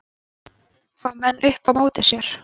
Fá menn upp á móti sér